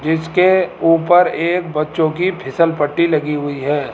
जिसके ऊपर एक बच्चों की फिसल पट्टी लगी हुई है।